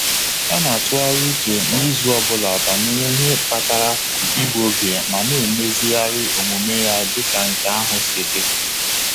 Ọ na-atụgharị uche n'izu ọ bụla banyere ihe kpatara igbu oge ma na-emezigharị omume ya dị ka nke ahụ si dị.